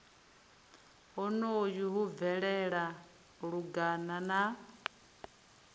honoho hu bvelela lungana na